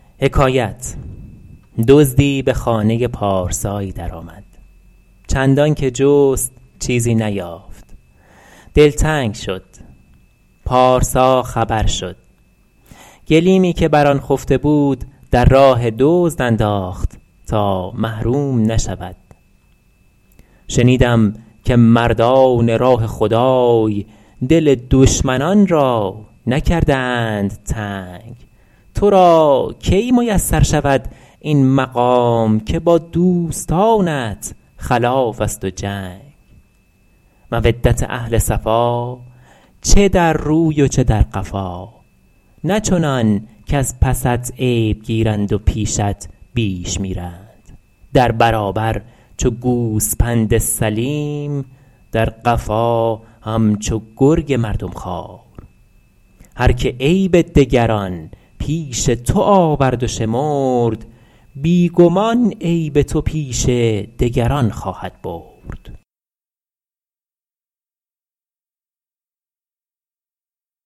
دزدی به خانه پارسایی در آمد چندان که جست چیزی نیافت دلتنگ شد پارسا خبر شد گلیمی که بر آن خفته بود در راه دزد انداخت تا محروم نشود شنیدم که مردان راه خدای دل دشمنان را نکردند تنگ تو را کی میسر شود این مقام که با دوستانت خلاف است و جنگ مودت اهل صفا چه در روی و چه در قفا نه چنان کز پست عیب گیرند و پیشت بیش میرند در برابر چو گوسپند سلیم در قفا همچو گرگ مردم خوار هر که عیب دگران پیش تو آورد و شمرد بی گمان عیب تو پیش دگران خواهد برد